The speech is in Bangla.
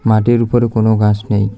মাটির উপরে কোনো ঘাস নেই।